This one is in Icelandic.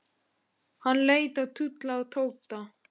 Hann leit á Lúlla og Tóta.